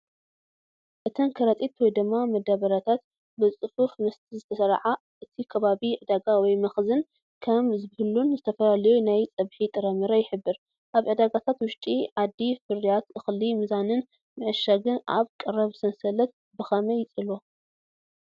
እተን ከረጢታት/መዳበርያታት ብጽፉፍ ምስ ዝተስርዓ፡ እቲ ከባቢ ዕዳጋ ወይ መኽዘን ከም ዝህሉን ዝተፈላለዩ ናይ ፀብሒ ጥረምረ ይሕብር። ኣብ ዕዳጋታት ውሽጢ ዓዲ ፍርያት እኽሊ ምምዛንን ምዕሻግን ኣብ ቀረብ ሰንሰለት ብኸመይ ይጸልዎ?